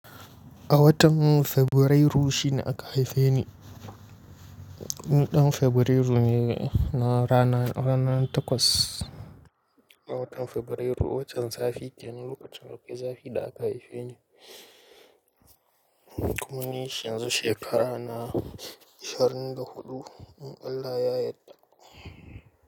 A watan Fabrairu shi ne aka haife ni, ni ɗan Fabrairu ne na ranar, ranar takwas a watan Fabrairu. Watan zafi kenan lokacin akwai zafi da aka haife ni. Kuma ni yanzu shekara na ishirin da huɗu, in Allah ya yadda.